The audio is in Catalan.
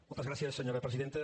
moltes gràcies senyora presidenta